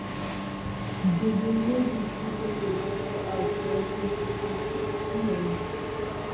gèdè méjì kù sódò lọjọ àìsùn ọdún tuntun ńlọrọrin